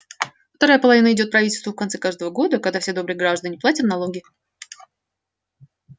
вторая половина идёт правительству в конце каждого года когда все добрые граждане платят налоги